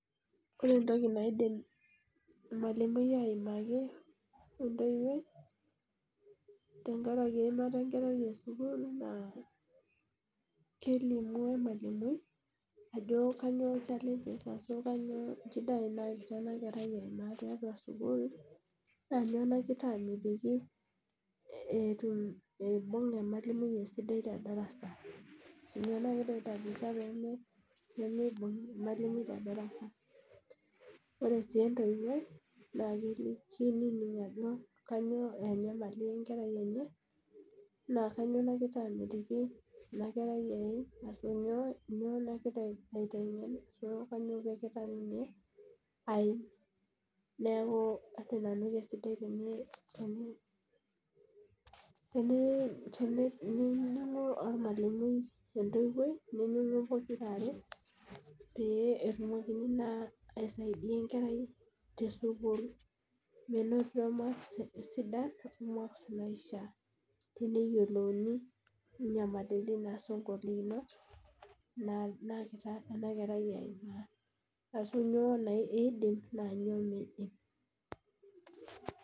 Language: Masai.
Ore entoki aidim emalimui aimaki wentoiwoi tenkaraki weimata enkerai esukuul naa kelimu ilmalumui ajo kanyio inchida naata ana nkerai aimaaa tiatua esukuul, naa nyoo nagira amitiki etum eibung' ilo irmwalumui le indarasa ashu nyoo nai pemeibunf' imalimui te ildarasa. Ore sii entoiwoi naa keinining' ajo kainyioo enyamali enkerai enye, na kainyio nagira amitiki enakerai eim asju inyoo angira atienden ashu kainyio namikitaa ninye aim, neaku ajo nanu kesidai teneponu ormwalimui ontoiwoi neinining'u pokira are peetumokini naa aisaidiyai enkerai te sukuul menotito emaksi sidan maks naishaa teneyiolouni inyamaliritin ashu ingolikinot naagira ana inkerai aimaa ashu nyoo naa eidim naa inyop meidim.